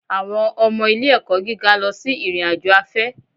Àwọn ọmọ ilé-ẹ̀kọ́ gíga lọ sí ìrìn-àjò afẹ́